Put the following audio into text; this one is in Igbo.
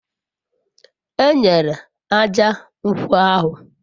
enyere ájá nkwo ahu